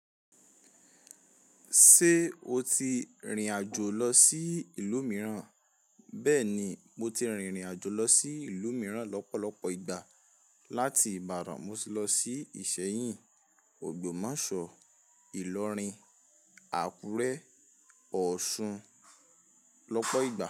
Ṣé o ti rìnrìn àjò lọ sí ìlú mìíràn? Bẹ́ẹ̀ni, mo ti rìnrìn àjò lọ sí ìlú mìíràn lọ́pọ̀lọpọ̀ ìgbà. Láti Ìbàdàn, mo ti lọ sí Ìṣẹyìn, Ogbomoso, Ìlọrin, Àkúrẹ́, Ọ̀sun lọ́pọ̀ ìgbà.